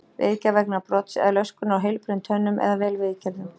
Viðgerð vegna brots eða löskunar á heilbrigðum tönnum eða vel viðgerðum.